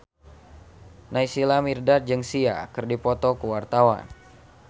Naysila Mirdad jeung Sia keur dipoto ku wartawan